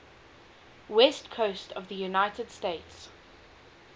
west coast of the united states